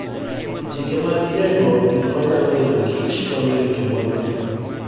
Chike mag geng'o gik manyalo hinyo kich, konyo e rito mwandugi.